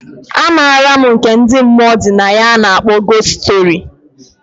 A maram nke ndi mmụọ dị na ya a na akpọ gost story.